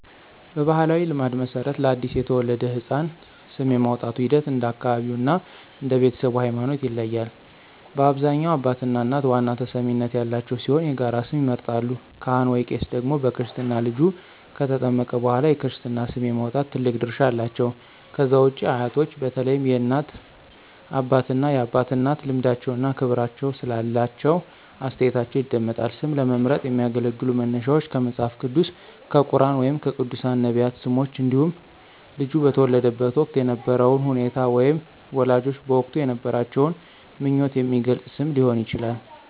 በባሕላዊ ልማድ መሠረት፣ ለአዲስ የተወለደ ሕፃን ስም የማውጣቱ ሂደት እንደ አካባቢው እና እንደ ቤተሰቡ ሃይማኖት ይለያያል። በአብዛኛው አባትና እናት ዋና ተሰሚነት ያላቸው ሲሆን የጋራ ስም ይመርጣሉ። ካህን/ቄስ ደግሞ በክርስትና ልጁ ከተጠመቀ በኋላ የክርስትና ስም የማውጣት ትልቅ ድርሻ አላቸው። ከዛ ውጪ አያቶች በተለይም የእናት አባትና የአባት እናት ልምዳቸውና ክብር ስላላቸው አስተያየታቸው ይደመጣል። ስም ለመምረጥ የሚያገለግሉ መነሻዎች ከመጽሐፍ ቅዱስ፣ ከቁርኣን ወይም ከቅዱሳን/ነቢያት ስሞች እንዲሁም ልጁ በተወለደበት ወቅት የነበረውን ሁኔታ ወይም ወላጆች በወቅቱ የነበራቸውን ምኞት የሚገልጽ ስም ሊሆን ይችላል።